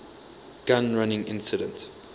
gun running incident